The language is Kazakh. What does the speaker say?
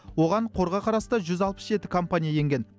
оған қорға қарасты жүз алпыс жеті компания енген